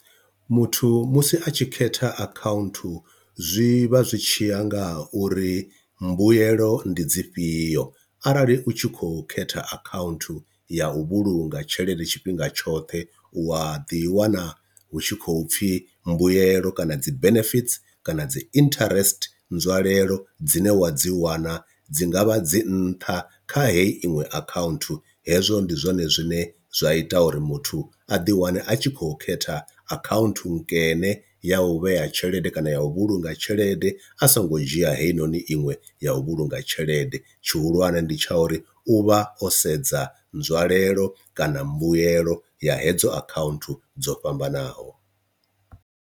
Muthu musi a tshi khetha akhaunthu zwi vha zwi tshiya nga uri mbuyelo ndi dzi fhio, arali utshikho khetha akhaunthu ya u vhulunga tshelede tshifhinga tshoṱhe u a ḓi wana hu tshi khou pfhi mbuyelo kana dzi benefits kana dzi interest nzwalelo dzine wa dzi wana dzi ngavha dzi nṱha kha heyi iṅwe akhaunthu, hezwo ndi zwone zwine zwa ita uri muthu a ḓi wane a tshi khou khetha akhaunthu nkene ya u vhea tshelede kana ya u vhulunga tshelede a songo dzhia heyi noni iṅwe ya u vhulunga tshelede tshihulwane ndi tsha uri u vha o sedza nzwalelo kana mbuelo ya hedzo akhaunthu dzo fhambanaho.